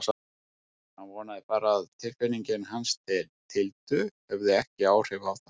Hann vonaði bara að tilfinningar hans til Tildu hefðu ekki áhrif á það.